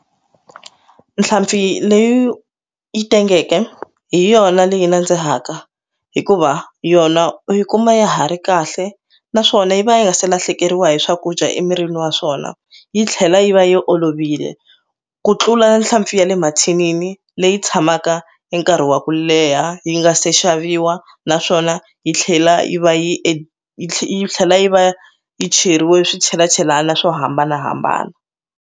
Nhlampfi leyi tengeke hi yona leyi nandzihaka hikuva yona u yi kuma ya ha ri kahle naswona yi va yi nga se lahlekeriwa hi swakudya emirini wa swona yi tlhela yi va yi olovile ku tlula nhlampfi ya le mathinini leyi tshamaka hi nkarhi wa ku leha yi nga se xaviwa naswona yi tlhela yi va yi tlhe yi tlhela yi va yi cheriwe swichelachelani swo hambanahambana.